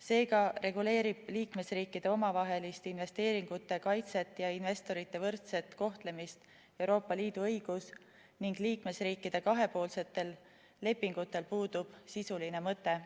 Seega reguleerib liikmesriikide omavahelist investeeringute kaitset ja investorite võrdset kohtlemist Euroopa Liidu õigus ning liikmesriikide kahepoolsetel lepingutel puudub sisuline mõte.